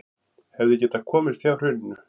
Hefðu getað komist hjá hruninu